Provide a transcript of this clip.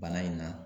Bana in na